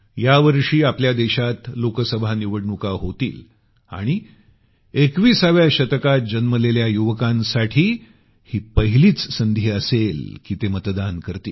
यावर्षी आपल्या देशात लोकसभा निवडणुका होतील आणि 21 व्या शतकात जन्मलेल्या युवकांसाठी ही पहिलीच संधी असेल की ते मतदान करतील